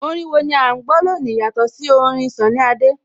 Orin wo ni à ń gbọ́ lónìí yàtọ̀ sí orin Sunny Adé?